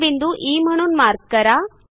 तो बिंदू ई म्हणून मार्क करा